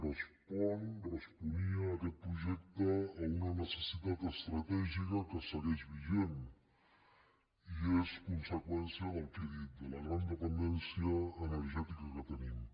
respon responia aquest projecte a una necessitat estratègica que segueix vigent i és conseqüència del que he dit de la gran dependència energètica que tenim